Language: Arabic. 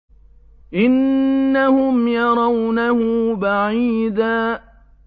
إِنَّهُمْ يَرَوْنَهُ بَعِيدًا